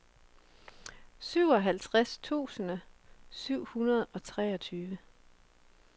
syvoghalvtreds tusind syv hundrede og treogtyve